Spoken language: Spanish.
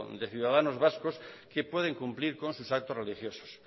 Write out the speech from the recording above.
de ciudadanos vascos que pueden cumplir con sus actos religiosos